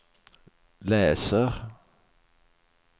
läser